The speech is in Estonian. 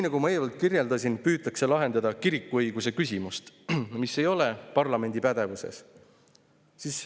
Nagu ma eelnevalt kirjeldasin, püütakse lahendada kirikuõiguse küsimust, mis ei ole parlamendi pädevuses.